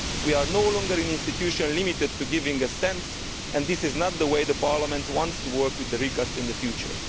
We are no longer an institution limited to giving assent and this is not the way Parliament wants to work with the recast in the future.